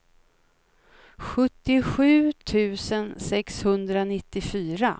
sjuttiosju tusen sexhundranittiofyra